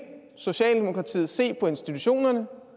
socialdemokratiet se på institutionerne